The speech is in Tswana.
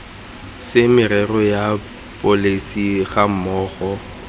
se merero ya pholesi gammogo